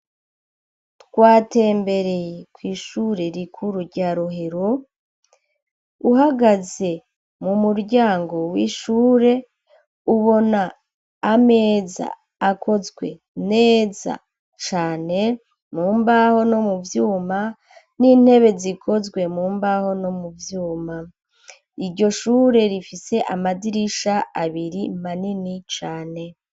Twatembereye kw'ishure rikuru rya rohero uhagaze mu muryango w'ishure ubona ameza akozwe neza cane mu mbaho no mu vyuma n'intebe zikozwe mu mbaho no mu vyuma iryo shure rifise amadirisha abiri manini cane.